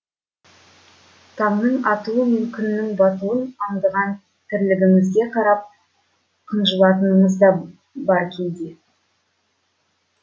таңның атуы мен күннің батуын аңдыған тірлігімізге қарап қынжылатынымыз да бар кейде